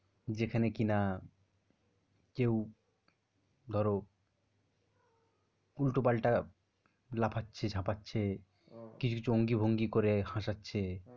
যেখানে কিনা কেউ ধরো উল্টো পাল্টা লাফাচ্ছে ঝাপাচ্ছে, কিছু অঙ্গি ভঙ্গি করে হাসাচ্ছে।